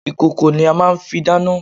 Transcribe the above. Ìkòkò ni a màa n fi dáná